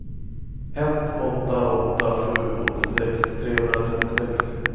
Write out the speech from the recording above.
ett åtta åtta sju åttiosex trehundratrettiosex